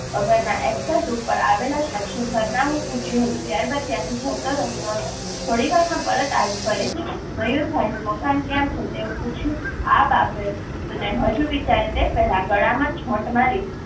વગરના એકસેસ ઉપર આવેલા શખ્સે સરનામું પૂછયું હતું. ત્યારબાદ ત્યાંથી જતો રહ્યો હતો. થોડીવારમાં પરત આવી ફરીથી મયૂરભાઈ નું મકાન કયાં છે? તેવું પૂછ્યું આ બાબતને હજુ વિચારે તેજ પહેલા ગળા માં જોટ મારી